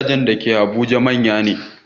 Gidajen da ke Abuja manya ne